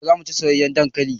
Gobe zamu chi soyayan dankalin